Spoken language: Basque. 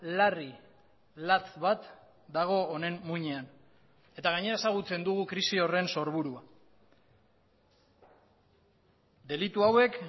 larri latz bat dago honen muinean eta gainera ezagutzen dugu krisi horren sorburua delitu hauek